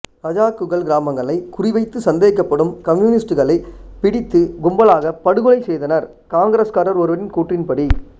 ரஜாக்குகள் கிராமங்களை குறிவைத்து சந்தேகப்படும் கம்யூனிஸ்டுகளை பிடித்து கும்பலாக படுகொலை செய்தனர் காங்கிரஸ்காரர் ஒருவரின் கூற்றின்படி